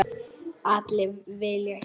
Allir vilja hjálpa.